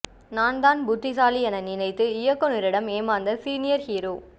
நான் தான் புத்திசாலி என நினைத்து இயக்குனரிடம் ஏமாந்த சீனியர் ஹீரோ